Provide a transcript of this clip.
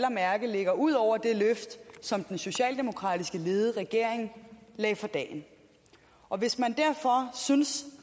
at mærke ligger ud over det løft som den socialdemokratisk ledede regering lagde for dagen og hvis man derfor synes